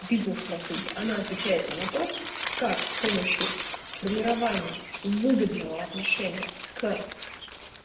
бизнес-стратегия она отвечает на вопрос как с помощью формирования выгодного отношения к